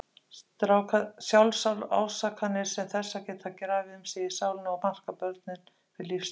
Sjálfsásakanir sem þessar geta grafið um sig í sálinni og markað börnin fyrir lífstíð.